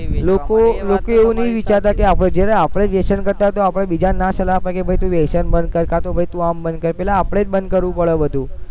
લોકો લોકો એવું નહી વિચારતા કે આપણે જેને આપણે જોશે એના કરતા તો આપણે બીજાને ના સલાહ અપાય કે ભૈ તું વ્યસન બંધ કર કાં તો ભાઈ તું આમ બંધ કર પેલા આપણે જ બંધ કરવું પડે બધું